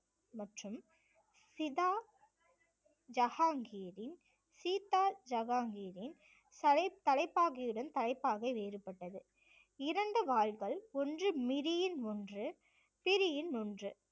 மற்றும் சிதா ஜஹாங்கீரின் சீதா ஜஹாங்கீரின் தலை~ தலைப்பாகையுடன் தலைப்பாகை வேறுபட்டது இரண்டு வாள்கள் ஒன்று மிரியின் ஒன்று பிரியின் ஒன்று